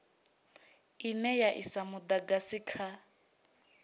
ine ya isa mudagasi kha